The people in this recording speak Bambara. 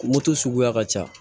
Moto suguya ka ca